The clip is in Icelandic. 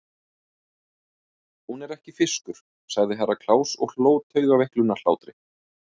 Hún er ekki fiskur, sagði Herra Kláus og hló taugaveiklunarhlátri.